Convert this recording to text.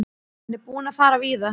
Hann er búinn að fara víða.